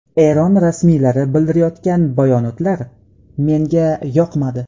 Eron rasmiylari bildirayotgan bayonotlar menga yoqmadi.